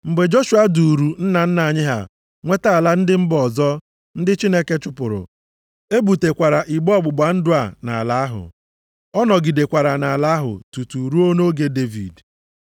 Mgbe Joshua duuru nna nna anyị ha nweta ala ndị mba ọzọ ndị Chineke chụpụrụ. E butekwara igbe ọgbụgba ndụ a nʼala ahụ. Ọ nọgidekwara nʼala ahụ tutu ruo nʼoge Devid.